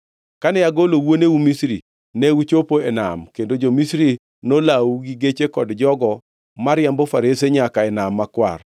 Kane agolo wuoneu Misri, ne uchopo e nam, kendo jo-Misri nolawou gi geche kod jogo mariambo farese nyaka e Nam Makwar.